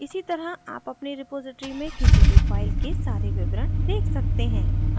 इसी तरह आप अपनी repository में किसी भी file के सारे विवरण देख सकते हैं